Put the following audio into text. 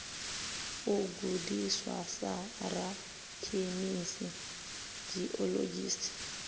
u gudiswa sa rakhemisi geologist